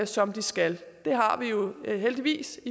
som de skal det har vi jo heldigvis